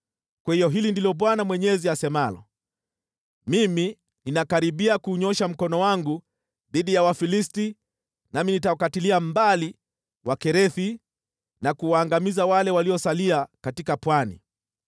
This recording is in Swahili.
kwa hiyo hili ndilo Bwana Mwenyezi asemalo: Mimi ninakaribia kuunyoosha mkono wangu dhidi ya Wafilisti, nami nitawakatilia mbali Wakerethi na kuwaangamiza wale waliosalia katika pwani.